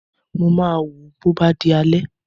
Mo máa wò ó bó bá di alẹ́